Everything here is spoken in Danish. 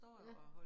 Ja